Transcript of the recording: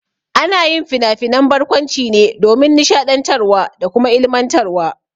Ana yin finafinan barkwanci ne domin nishaɗiantarwa da kuma ilmantarwa.